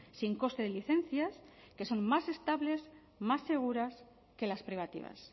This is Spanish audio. sin coste de licencias que son más estables más seguras que las privativas